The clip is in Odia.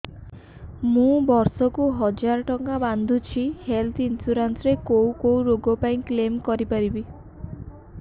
ମୁଁ ବର୍ଷ କୁ ହଜାର ଟଙ୍କା ବାନ୍ଧୁଛି ହେଲ୍ଥ ଇନ୍ସୁରାନ୍ସ ରେ କୋଉ କୋଉ ରୋଗ ପାଇଁ କ୍ଳେମ କରିପାରିବି